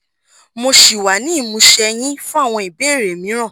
mo ṣì wà ní ìmúṣẹ yín fún àwọn ìbéèrè mìíràn